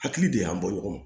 Hakili de y'an bɔ ɲɔgɔn ma